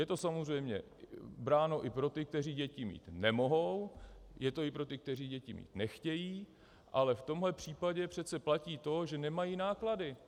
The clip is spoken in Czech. Je to samozřejmě bráno i pro ty, kteří děti mít nemohou, je to i pro ty, kteří děti mít nechtějí, ale v tomto případě přece platí to, že nemají náklady.